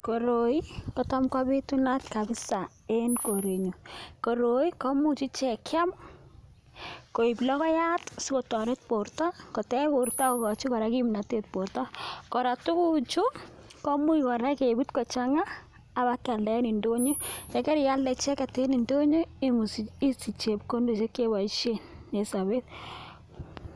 Koroi kotam kobitunat kabisa en korenyo, koroi komuche chekeam koib lokoyat sikotoret borta, kotech borta akokochi kora kimnatet borta, korotwek kuu chu komuch kora kebir kochang'a alak keaeldae eng ndonyo, yekar ialde icheket en ndonyo, isich chepkondok che keboishen en sobet.